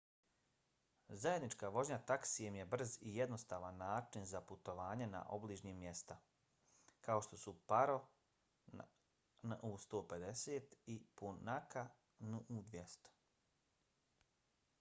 zajednička vožnja taksijem je brz i jednostavan način za putovanje na obližnja mjesta kao što su paro nu 150 i punakha nu 200